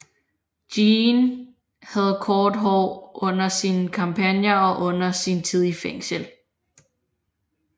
Jeanne havde kort hår under sine kampagner og under sin tid i fængsel